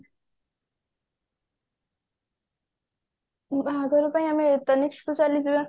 ବାହାଘର ପାଇଁ ଆମେ ତନିଷ୍କ କୁ ଚାଲିଯିବା